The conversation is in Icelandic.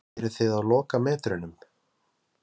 Sunna Sæmundsdóttir: Eruð þið á lokametrunum?